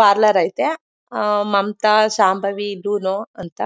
parlour ಐತೆ ಹಾ ಮಮತಾಜ್ ಶಾಂಭವಿ ಲೂನೊ ಅಂತ